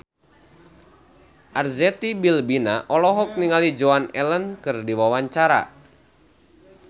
Arzetti Bilbina olohok ningali Joan Allen keur diwawancara